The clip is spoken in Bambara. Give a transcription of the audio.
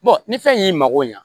ni fɛn y'i mago ɲa